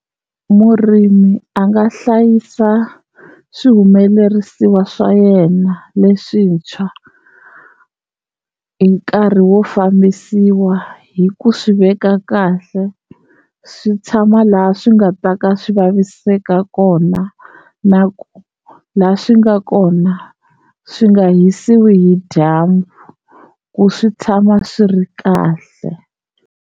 Murimi a nga hlayisa swihumelerisiwa swa yena leswintshwa hi nkarhi wo fambisiwa hi ku swi veka kahle, swi tshama laha swi nga ta ka swi vaviseka kona na ku la swi nga kona swi nga hisiwi hi dyambu ku swi tshama swi ri kahle.